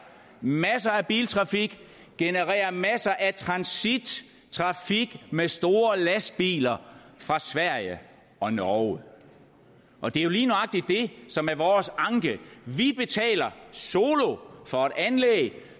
masser af biltrafik generere masser af transittrafik med store lastbiler fra sverige og norge og det er jo lige nøjagtig det som er vores anke vi betaler solo for et anlæg